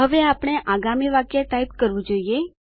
હવે આપણે આગામી વાક્ય ટાઇપ કરવું જોઈએ